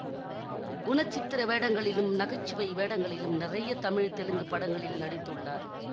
குணசித்திர வேடங்களிலும் நகைச்சுவை வேடங்களிலும் நிறைய தமிழ் தெலுங்கு படங்களில் நடித்துள்ளார்